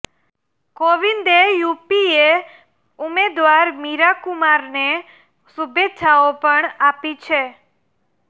કોવિંદે યૂપીએ ઉમેદવાર મીરા કુમારને શુભેચ્છાઓ પણ આપી છે